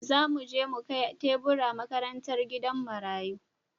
Za mu je mu kai tebura makarantar gidan marayu.